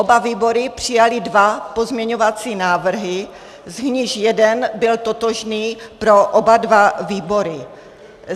Oba výbory přijaly dva pozměňovací návrhy, z nichž jeden byl totožný pro oba dva výbory.